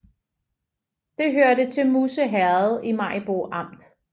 Det hørte til Musse Herred i Maribo Amt